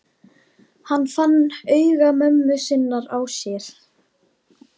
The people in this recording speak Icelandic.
Hann fann augu mömmu sinnar á sér.